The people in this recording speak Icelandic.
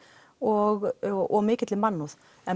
og og mikilli mannúð en